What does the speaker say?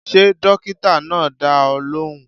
Ṣé dókítà náà dá ọ lóhùn?